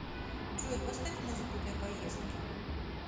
джой поставь музыку для поездки